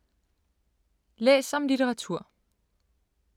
Læs om litteratur